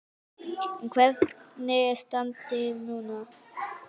En hvernig er standið núna?